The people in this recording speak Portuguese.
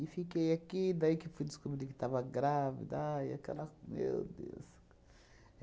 fiquei aqui, daí que fui descobrir que estava grávida, aí aquela... meu Deus!